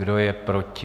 Kdo je proti?